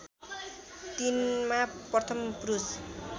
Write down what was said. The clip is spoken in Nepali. तिनमा प्रथम पुरुष